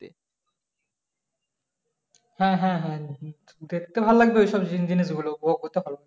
হ্যাঁ হ্যাঁ হ্যাঁ দেখতে ভালো লাগবে ওই সব জিনিসগুলো